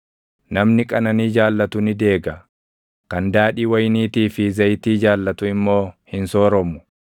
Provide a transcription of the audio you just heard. Namni qananii jaallatu ni deega; kan daadhii wayiniitii fi zayitii jaallatu immoo hin sooromu.